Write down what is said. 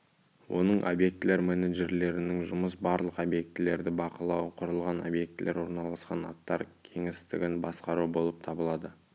оның объектілер менеджерлерінің жұмысы барлық объектілерді бақылау құрылған объектілер орналасқан аттар кеңістігін басқару болып табылады